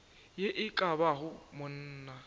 ye e ka bago monna